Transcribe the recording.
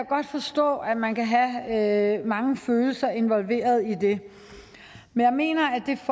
godt forstå at man kan have mange følelser involveret i det men jeg mener